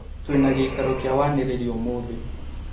Twĩna gĩikaro kĩa wanĩrĩri ũmũthĩ